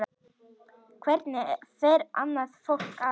Hvernig fer annað fólk að?